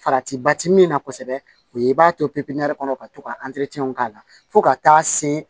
Farati ba ti min na kosɛbɛ o ye i b'a to ppɛn kɔnɔ ka to ka k'a la fo ka taa se